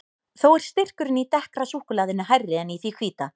Þó er styrkurinn í dekkra súkkulaðinu hærri en í því hvíta.